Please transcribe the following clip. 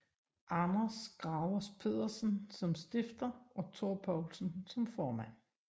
Anders Gravers Pedersen som stifter og Thor Poulsen som formand